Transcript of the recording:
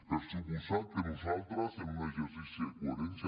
per descomptat que nosaltres en un exercici de coherència